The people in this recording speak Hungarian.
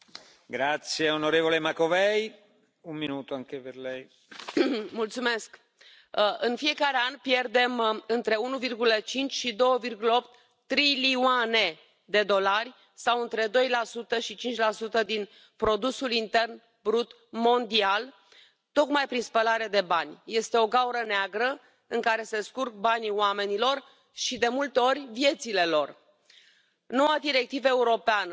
Tisztelt Elnök úr! Kedves migrációbarát képviselőtársaim! Hát az a helyzet, hogy Önök ezt a Sargentini jelentést elbukták. Önök nem győztek. Nem kapták meg a kétharmadot ugyanis, mivel Soros György barátjukat mindenáron ki akarják elégíteni. Most elkezdtek csalni, ugye? Azt mondják, hogy a tartózkodás az olyan, mint hogyha az illető nem szavazott volna.